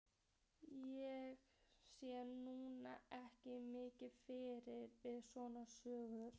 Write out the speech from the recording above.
Ég sé nú ekki mikið fyndið við svona sögur.